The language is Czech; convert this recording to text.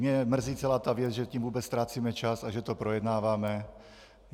Mě mrzí celá ta věc, že tím vůbec ztrácíme čas a že to projednáváme.